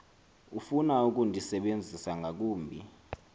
ofuna ukundisebenzisa ngakumbi